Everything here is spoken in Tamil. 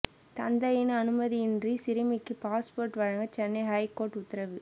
தந்தையின் அனுமதி இன்றி சிறுமிக்கு பாஸ்போர்ட் வழங்க சென்னை ஹைகோர்ட் உத்தரவு